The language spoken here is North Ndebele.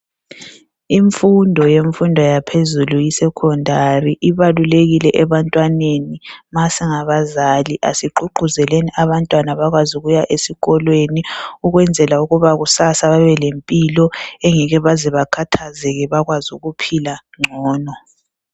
Imfundo yemfundo yaphezulu, (isekhondari) ibalulekile ebantwaneni. Ma singabazali asigqugquzeleni abantwana bakwazi ukuya esikolweni ukwenzela ukuba kusasa babe lempilo engeke baze bakhathazeke, bakwaz' ukuphila ngcono.